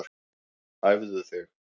Æfðu þig